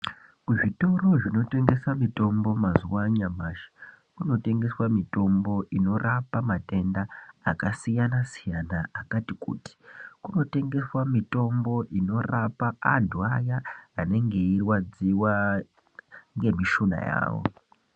Muzvitoro zvinotengese mitombo mazuwa anyamashi kuno tengeswa mitombo inorapa matenda akasiyanasiyana akati kuti ,kunotengeswa mitombo inorapa anhu aya anenge eirwadziwa ngemishuna yawo.